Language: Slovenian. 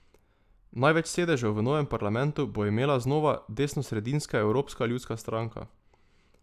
Največ sedežev v novem parlamentu bo imela znova desnosredinska Evropska ljudska stranka.